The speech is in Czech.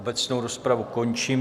Obecnou rozpravu končím.